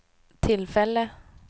tillfälle